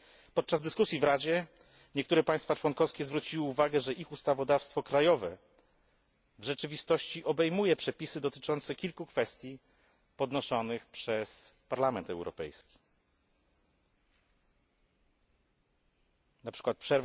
Podczas dyskusji w Radzie niektóre państwa członkowskie zwróciły uwagę, że ich ustawodawstwo krajowe w rzeczywistości obejmuje przepisy dotyczące kilku kwestii podnoszonych przez Parlament Europejski np.